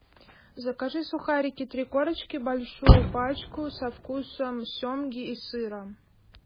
закажи сухарики три корочки большую пачку со вкусом семги и сыра